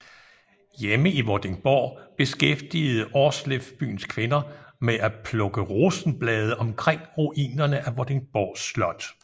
Hjemme i Vordingborg beskæftigede Aarsleff byens kvinder med at plukke rosenblade omkring ruinerne af Vordingborg Slot